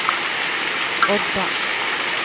Odda